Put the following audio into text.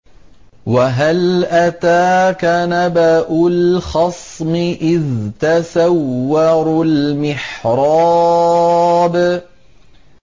۞ وَهَلْ أَتَاكَ نَبَأُ الْخَصْمِ إِذْ تَسَوَّرُوا الْمِحْرَابَ